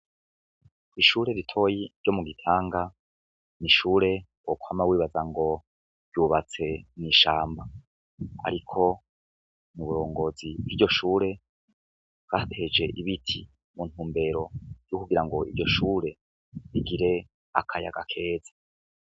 Ishure ritoyi ryo mu gitanga, n'ishure wokwama wibaza ngo riri mw'ishamba ,ariko uburongozi bw'iryo shure bwarateje ibiti muntumbero yo kugirango iryoshure rigire akayaga keza.